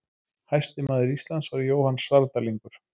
Hæsti maður Íslands var Jóhann Svarfdælingur.